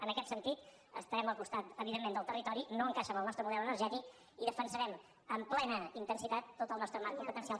en aquest sentit estarem al costat evidentment del territori no encaixa amb el nostre model energètic i defensarem amb plena intensitat tot el nostre marc competencial